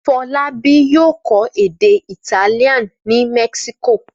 Fọlábí yóò kọ́ èdè Italian ní Mexico.